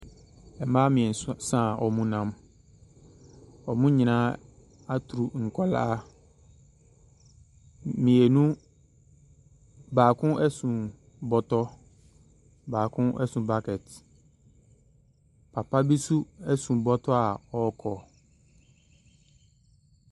Mmaa mmiɛso sa a wɔnam. Wɔn nyinaa aturu nkwaraa. Mmienu, baako so bɔtɔ. Baako so bucket. Papa bi nso so bɔtɔ a ɔrekɔ.